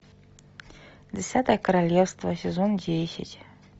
десятое королевство сезон десять